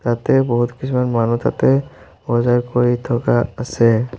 তাতে বহুত কিছুমান মানুহ তাতে বজাৰ কৰি থকা আছে।